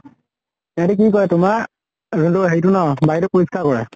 ইহঁতে কি কৰে তোমাৰ যোন টো হেৰি টো ন বায়ুটো পৰিস্কাৰ কৰা।